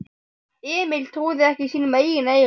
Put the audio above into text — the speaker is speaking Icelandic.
Emil trúði ekki sínum eigin eyrum.